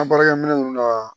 An baarakɛminɛn ninnu na